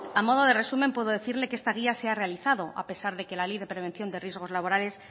a modo de resumen puedo decirle que esta guía se ha realizado a pesar de que la ley de prevención de riesgos laborales